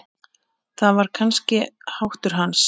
Það var kannski háttur hans.